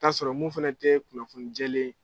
K'a sɔrɔ mun fana tɛ kunnafoni jɛlen ye